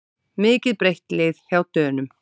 Mikið breytt lið hjá Dönum